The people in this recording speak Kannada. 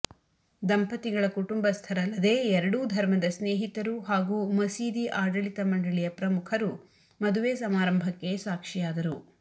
ದಂಪತಿಗಳ ಕುಟುಂಬಸ್ಥರಲ್ಲದೆ ಎರಡೂ ಧರ್ಮದ ಸ್ನೇಹಿತರು ಹಾಗೂ ಮಸೀದಿ ಆಡಳಿತ ಮಂಡಳಿಯ ಪ್ರಮುಖರು ಮದುವೆ ಸಮಾರಂಭಕ್ಕೆ ಸಾಕ್ಷಿಯಾದರು